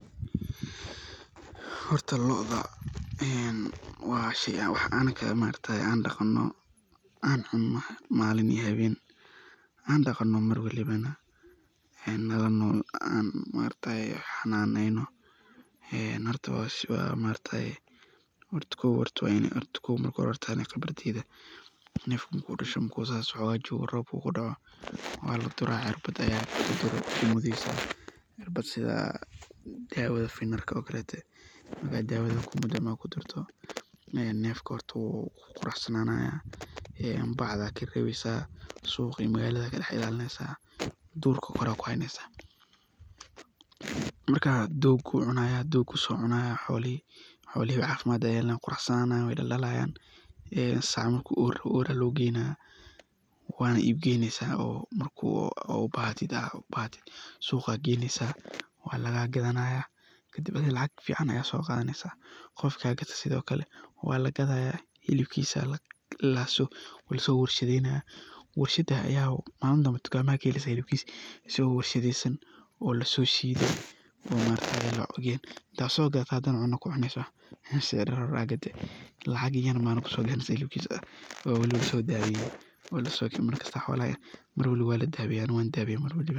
Horta lodaa ee waa shey waax anaga aan daqano, aan cuno maliin iyo haween, aan daqano mar walibana, nala nol ee aan xananeyno, ee horta waa suale, horta kow aniga khibradeyda nef marku dasho marku sas xogaa jogo Rob ukudaaco waladuraa cirbaad aya gudihisa lagu duraa, cirbaad sidhii dawada finarka o kaletee baa dawadaa lagu duraa, markaa kudurto nefka hortaa wuu quraxsananaaya, bacdaa kareweysaa suqaa iyo magaladaa kareweysaa, durka Kore aya kuhaynesaa, markaa dogu so cunayaa, xolihi cafimaad ayey yelanayiin, wey qurasananayiin, wey daldalayaan, ee sacaa marku or aya logeynayaa, wanaa iib geyneysaa, marki oo bahti suqaa ayaa geyneysaa, waa laga gadhanaya kadib athiga lacaag ficaan ayaa soqathaneysaa, qofki sogate sitho kalee walagathayaa, hibkisaa waa lasowarshadheynayaa, warshaas ayaa maliin danbee tukamahaa ayaa kaheleysaa hilibkis isago warshadeysaan o lasoshidee,o markas laogeen intaa sogadhato ayaa cunaa kucuneysaa, neshi yareed o maliin horee aad gadee lacaag yaan mana kusobixiinin, balsee hilibkisaa waba lasodathiyawa markas waladaweyaa xolaha, mar waaliba waa ladaweyaa, ani wan daweyaa mar walbo.